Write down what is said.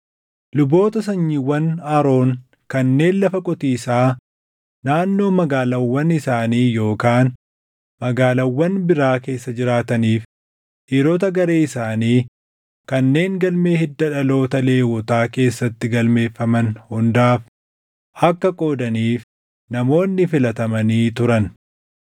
Luboota sanyiiwwan Aroon kanneen lafa qotiisaa naannoo magaalaawwan isaanii yookaan magaalaawwan biraa keessa jiraataniif, dhiirota garee isaanii kanneen galmee hidda dhaloota Lewwotaa keessatti galmeeffaman hundaaf akka qoodaniif namoonni filatamanii turan.